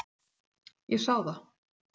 Ég sá það.